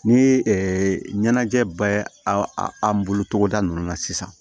Ni ɲɛnajɛ bɛ aw an bolo togoda ninnu na sisan